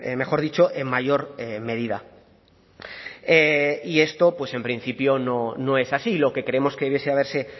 mejor dicho en mayor medida y esto en principio no es así lo que creemos que hubiese haberse